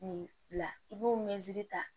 Nin bila i b'o ta